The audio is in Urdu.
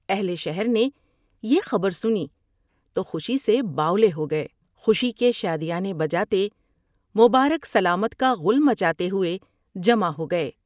اہل شہر نے یہ خبر سنی تو خوشی سے باولے ہو گئے ، خوشی کے شادیانے بجاتے ، مبارک سلامت کاغل مچاتے ہوۓ جمع ہو گئے ۔